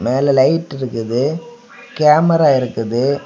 மேல லைட் இருக்குது கேமரா இருக்குது.